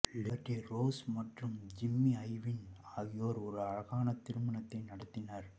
Liberty Rose மற்றும் Jimmy Ivin ஆகியோர் ஒரு அழகான திருமணத்தை நடத்தினர்